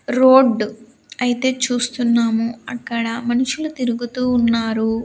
Road అయితే చూస్తున్నాము అక్కడ మనుషులు తిరుగుతూ ఉన్నారు.